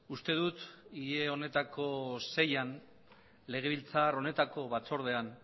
uste dut hile honetako seian legebiltzar honetako batzordean